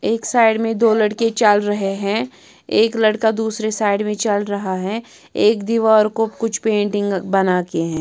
एक साइड में दो लड़के चल रहे हैं एक लड़का दूसरे साइड में चल रहा है एक दीवार को कुछ पेंटिंग बना के है।